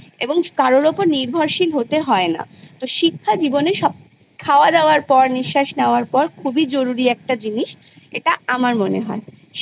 এবং কারোর ওপর নির্ভরশীল হতে হয় না তো শিক্ষা জীবনে সব খাওয়াদাওয়ার পর নিঃশাস নাওয়ার পর খুবই জরুরি একটা জিনিস এটা আমার মনে হয়